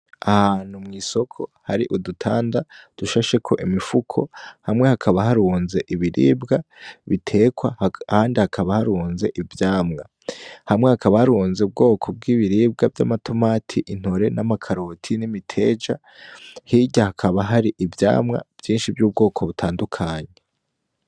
Ahantu mw'isoko hari udutanda dushasheko imifuko hamwe hakaba harunze ibiribwa bitekwa ahandi hakaba harunze ivyamwa hamwe hakaba harunze ubwoko bwibiribwa vyamatomati , intore namakaroti nimiteja hirya hakaba hari ivyamwa vyinshi vyubwoko butandukanye.